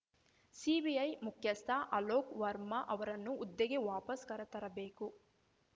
CBI ಮುಖ್ಯಸ್ಥ ಅಲೋಕ್‌ ವರ್ಮಾ ಅವರನ್ನು ಹುದ್ದೆಗೆ ವಾಪಸ್‌ ಕರೆತರಬೇಕು